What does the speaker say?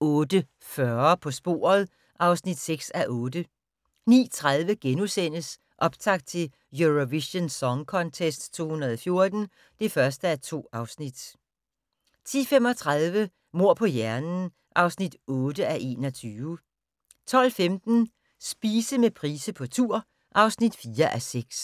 08:40: På sporet (6:8) 09:30: Optakt til Eurovision Song Contest 2014 (1:2)* 10:35: Mord på hjernen (8:21) 12:15: Spise med Price på tur (4:6)